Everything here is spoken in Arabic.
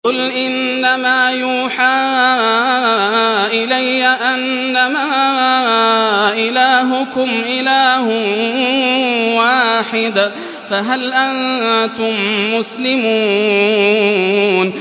قُلْ إِنَّمَا يُوحَىٰ إِلَيَّ أَنَّمَا إِلَٰهُكُمْ إِلَٰهٌ وَاحِدٌ ۖ فَهَلْ أَنتُم مُّسْلِمُونَ